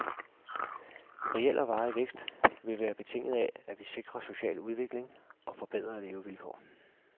Reel og varig vækst vil være betinget af, at vi sikrer social udvikling og forbedrede levevilkår.